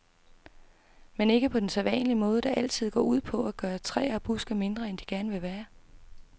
Men ikke på den sædvanlige måde, der altid går ud på at gøre træer og buske mindre, end de gerne vil være.